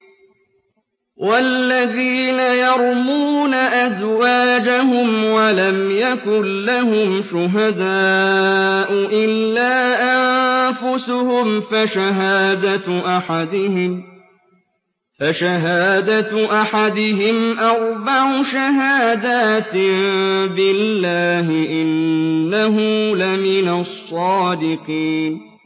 وَالَّذِينَ يَرْمُونَ أَزْوَاجَهُمْ وَلَمْ يَكُن لَّهُمْ شُهَدَاءُ إِلَّا أَنفُسُهُمْ فَشَهَادَةُ أَحَدِهِمْ أَرْبَعُ شَهَادَاتٍ بِاللَّهِ ۙ إِنَّهُ لَمِنَ الصَّادِقِينَ